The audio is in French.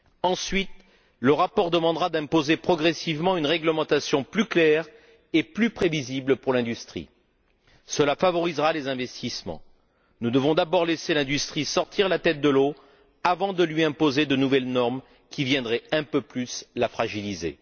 Ensuite, le rapport demandera d'imposer progressivement une réglementation plus claire et plus prévisible pour l'industrie. Cela favorisera les investissements. Nous devons d'abord laisser l'industrie sortir la tête de l'eau avant de lui imposer de nouvelles normes qui viendraient un peu plus la fragiliser.